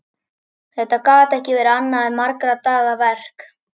Þetta gat ekki verið annað en margra daga verk.